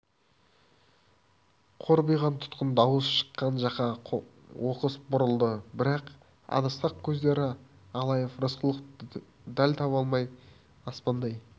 қорбиған тұтқын дауыс шыққан жаққа оқыс бұрылды бірақ адасқақ көздері алайып рысқұловты дәл таба алмай аспандай